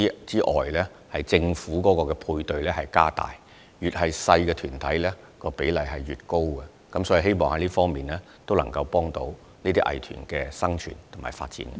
此外，政府會加大對他們的配對資助，規模越小的藝團比例越高，藉此促進這些藝團的生存和發展。